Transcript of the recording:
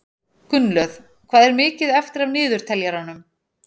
Gunnlöð, hvað er mikið eftir af niðurteljaranum?